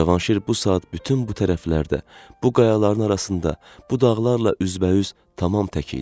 Cavanşir bu saat bütün bu tərəflərdə, bu qayaların arasında, bu dağlarla üzbəüz tamam tək idi.